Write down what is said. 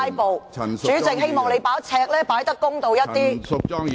我希望你的"尺度"可以公道一點。